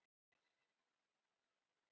Kinnarnar ljósrauðar eftir gönguna.